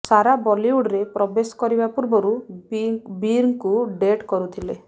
ସାରା ବଲିଉଡ୍ରେ ପ୍ରବେଶ କରିବା ପୂର୍ବରୁ ବୀର୍ଙ୍କୁ ଡେଟ୍ କରୁଥିଲେ